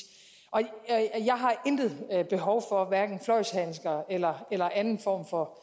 jeg intet behov for hverken fløjlshandsker eller eller anden form for